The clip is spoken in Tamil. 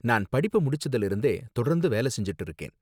நான் படிப்ப முடிச்சதுல இருந்தே தொடர்ந்து வேலை செஞ்சுட்டு இருக்கேன்.